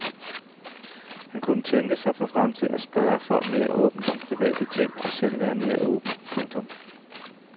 Han kunne tænke sig for fremtiden at spørge folk mere åbent om private ting og selv være mere åben. punktum